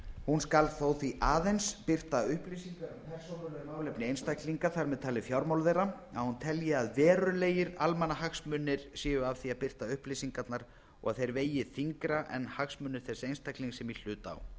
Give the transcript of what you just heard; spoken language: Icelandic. hún skal þó því aðeins birta upplýsingar um persónuleg málefni einstaklinga þar með talið fjármál þeirra að hún telji að verulegir almannahagsmunir séu af því að birta upplýsingarnar og þeir vegi þyngra en hagsmunir þess einstaklings sem í hlut á